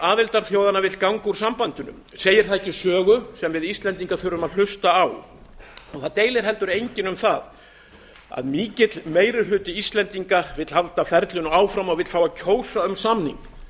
aðildarþjóðanna vill ganga úr sambandinu segir það ekki sögu sem við íslendingar þurfum að hlusta á það deilir heldur enginn um að mikill meiri hluti íslendinga vill halda ferlinu áfram og fá að kjósa um samning